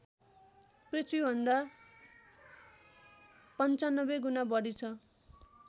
पृथ्वीभन्दा ९५ गुणा बढी छ